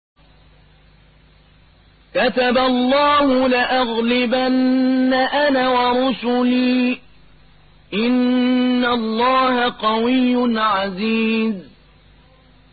كَتَبَ اللَّهُ لَأَغْلِبَنَّ أَنَا وَرُسُلِي ۚ إِنَّ اللَّهَ قَوِيٌّ عَزِيزٌ